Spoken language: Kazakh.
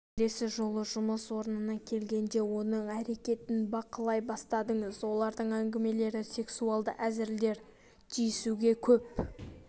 келесі жолы жұмыс орнына келгенде оның әрекетін бақылай бастадыңыз олардың әңгімелері сексуалды әзілдер тиісуге көп